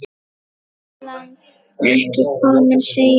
Pillan ekki komin, segi ég.